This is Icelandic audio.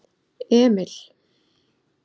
Emil